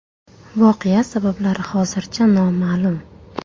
Voqea sabablari hozircha noma’lum.